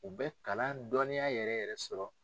U bɛ kalan dɔnniya yɛrɛ yɛrɛ sɔrɔ.